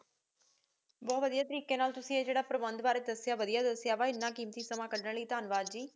ਬੋਹਤ ਵਾਦਿਯ ਤ੍ਰੀਕ੍ਯ ਨਾਲ ਤੁਸੀਂ ਏਹੀ ਜੇਰ੍ਰਾ ਪ੍ਰਬੰਦ ਕਾਰੀ ਦਾਸ੍ਸ੍ਯਾ ਵਾਦਿਯ ਦਾਸ੍ਸ੍ਯਾ ਆਪਣਾ ਕੀਮਤੀ ਸਮਮਾ ਕੜਨ ਲਈ ਠੰਵਾਦ ਵਾਦ ਜੀ